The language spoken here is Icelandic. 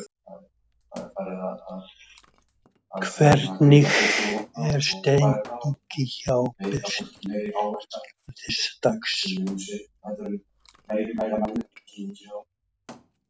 Hvernig er stemningin hjá Berserkjum þessa dagana?